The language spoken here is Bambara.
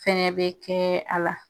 Fɛnɛ be kɛ a la.